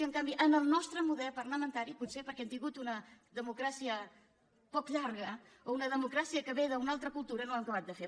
i en canvi en el nostre model parlamentari potser perquè hem tingut una democràcia poc llarga o una democràcia que ve d’una altra cultura no ho hem acabat de fer